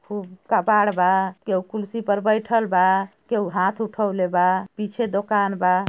हु कपड़ बा एओ कुर्सी पर बैठल बा केउ हाथ उथवले बा पीछे दुकान बा।